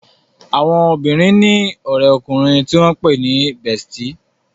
Àwọn obìrin ní òré ọkùnrin tí wón pé ní "bestie"